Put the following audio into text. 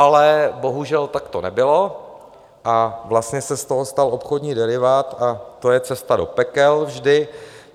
Ale bohužel tak to nebylo a vlastně se z toho stal obchodní derivát, a to je cesta do pekel vždy.